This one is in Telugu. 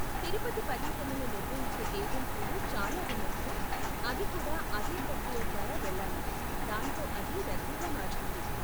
తిరుపతి పర్యటనలు నిర్వహించే ఏజెన్సీలు చాలా ఉన్నందున, అవి కూడా అదే ప్రక్రియ ద్వారా వెళ్ళాలి, దాంతో అది రద్దీగా మారుతుంది.